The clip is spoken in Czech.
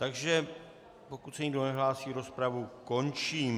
Takže pokud se nikdo nehlásí, rozpravu končím.